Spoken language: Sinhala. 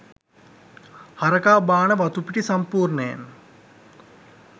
හරකා බාන වතුපිටි සම්පූර්ණයෙන්